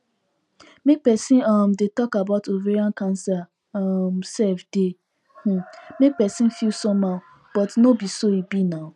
make persin um dey talk about ovarian cancer um sef dey um make persin feel somehow but no be so e be now